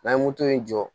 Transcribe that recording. N'an ye moto in jɔ